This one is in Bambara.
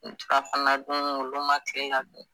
Surafana dun olu ma kila dun.